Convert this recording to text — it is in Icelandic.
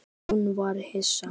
Hún varð hissa.